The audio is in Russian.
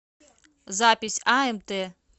запись амт